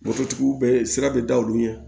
Moto tigiw bɛ sira bɛ da olu ɲɛ